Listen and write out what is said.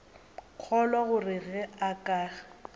kgolwa gore ge a ka